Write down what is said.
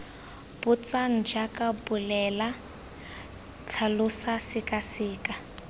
botsang jaaka bolela tlhalosa sekaseka